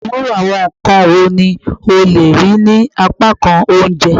Iru awọn nkan wo ni o le rii ni apakan ounjẹ?